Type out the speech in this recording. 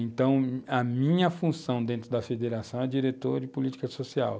Então, a minha função dentro da federação é diretor de política social.